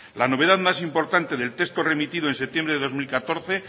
la novedad más importante del texto remitido en septiembre de dos mil catorce